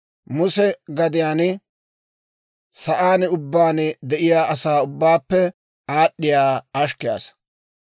Muse gadiyaan sa'aan ubbaan de'iyaa asaa ubbaappe aad'd'iyaa ashkke asaa.